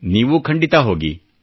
ನೀವೂ ಖಂಡಿತಾ ಹೋಗಿ